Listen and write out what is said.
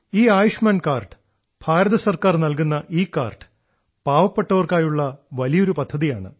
ഈ ആയുഷ്മാൻ കാർഡ് ഭാരതസർക്കാർ നൽകുന്ന ഈ കാർഡ് പാവപ്പെട്ടവർക്കായുള്ള വലിയൊരു പദ്ധതിയാണ്